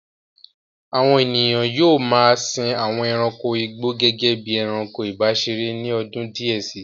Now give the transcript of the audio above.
Àwọn ènìyàn yóò ma a sin àwọn ẹranko igbó gẹ́gẹ́ bí i ẹranko ìbáseré ní ọdún díẹ̀ sí.